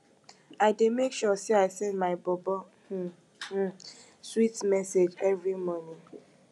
i dey make sure sey i send my bobo um um sweet message every morning